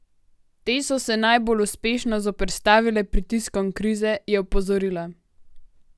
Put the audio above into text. Te so se najbolj uspešno zoperstavile pritiskom krize, je opozorila.